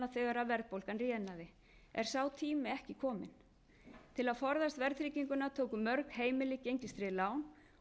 þegar verðbólgan rénaði er sá tími ekki kominn til að forðast verðtrygginguna tóku mörg heimili gengistryggð lán og eru nú enn verr